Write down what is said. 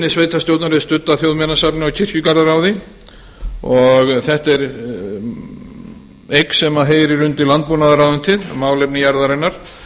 sveitarstjórnar er studd af þjóðminjasafninu og kirkjugarðaráði og þetta er eða sem heyrir undir landbúnaðarráðuneytið málefni jarðarinnar